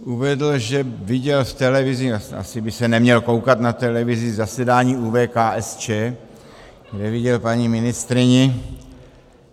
Uvedl, že viděl v televizi - asi by se neměl koukat na televizi - zasedání ÚV KSČ, kde viděl paní ministryni.